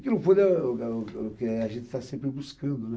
o que é, a gente está sempre buscando, né?